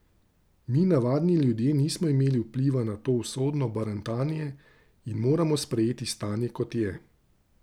Mi, navadni ljudje nismo imeli vpliva na to usodno barantanje in moramo sprejeti stanje, kot je.